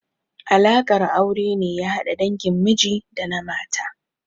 Alaƙar aure ne ya hada dangin miji da na mata.